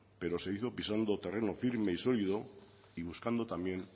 pero se hizo pisando terreno firme y sólido y buscando también